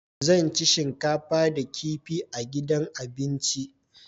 Zan ci shinkafa da kifi a gidan abinci.